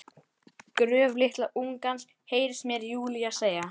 Gröf litla ungans, heyrist mér Júlía segja.